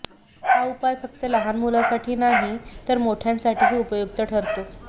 हा उपाय फक्त लहान मुलांसाठी नाही तर मोठ्यांसाठीही उपयुक्त ठरतो